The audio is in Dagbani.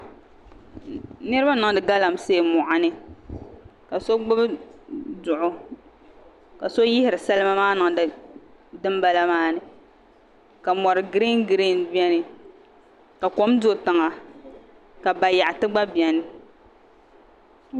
Niraba n niŋdi galamsee moɣani ka so gbuni duɣu ka so yihiri salima niŋdi dinbala maa ni ka mori giriin giriin biɛni ka kom do tiŋa ka bayaɣati gba biɛni